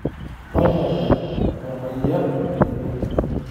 Tonyora orapayian lino.